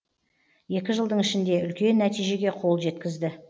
екі жылдың ішінде үлкен нәтижеге қол жеткізді